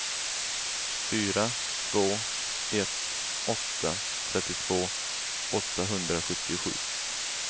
fyra två ett åtta trettiotvå åttahundrasjuttiosju